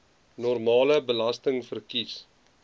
normale belasting verkies